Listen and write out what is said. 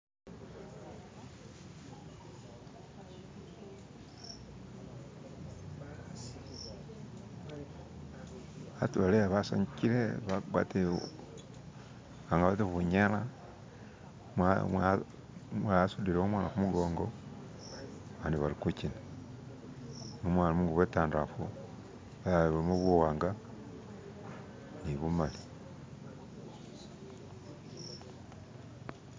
Abantu bali iya basanyukile bagwatile abandi bati bunyela mwa mwa umulala asudile umwana kumugongo bandi balikushina. Umulala ali mungubo intandafu umulala ilimo buwanga ni bumali.